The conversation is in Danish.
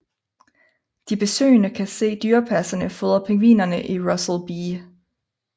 De besøgende kan se dyrepasserne fodre pingvinerne i Russel B